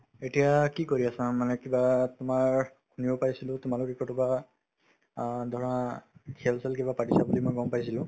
এতিয়া কি কৰি আছা মানে কিবা তোমাৰ শুনিব পাইছিলো তোমালোকে কৰবাত অ ধৰা খেল-চেল কিবা পাতিছা বুলি মই গম পাইছিলো